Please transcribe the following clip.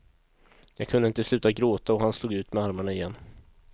Jag kunde inte sluta gråta och han slog ut med armarna igen.